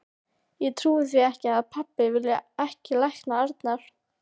Ég trúi því ekki að pabbi vilji ekki lækna Arnar.